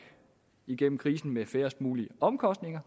igennem krisen med færrest mulige omkostninger